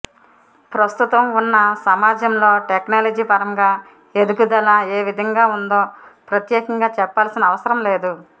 ప్రస్తుతం ఉన్న సమాజంలో టెక్నాలజీ పరంగా ఎదుగుదల ఏ విధంగా ఉందో ప్రత్యేకంగా చెప్పాల్సిన అవసరం లేదు